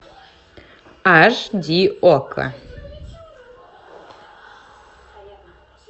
аш ди окко